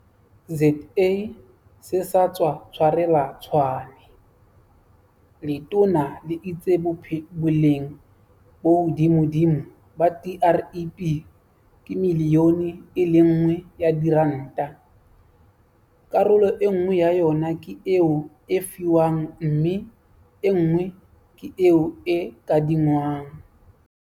ZA se sa tswa tshwarelwa Tshwane, letona le itse boleng bo hodimodimo ba TREP ke miliyone e le nngwe ya diranta, karolo enngwe ya yona ke eo e fiwang mme enngwe ke eo e kadingwang.